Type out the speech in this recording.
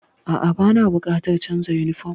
A'a, bana buƙatar canza yunifom.